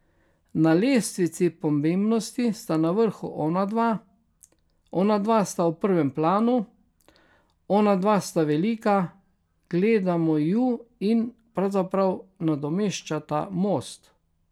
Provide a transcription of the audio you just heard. Na lestvici pomembnosti sta na vrhu onadva, onadva sta v prvem planu, onadva sta velika, gledamo ju in pravzaprav nadomeščata most.